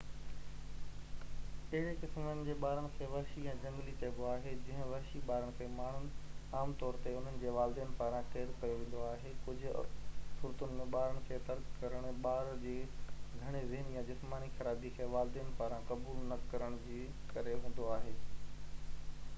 اهڙي قسمن جي ٻارن کي وحشي يا جهنگلي چئبو آهي. ڪجهہ وحشي ٻارن کي ماڻهن عام طور تي انهن جي والدين پاران قيد ڪيو ويندو آهي. ڪجهہ صورتن ۾ ٻارن کي ترڪ ڪرڻ ٻار جي گهڻي ذهني يا جسماني خرابي کي والدين پاران قبول نه ڪرڻ جي ڪري هوندو آهي